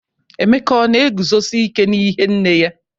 Emeka ọ na eguzosi ike n'ihe nne ya?